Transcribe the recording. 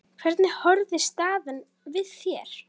Hvernig horfir staðan við þér?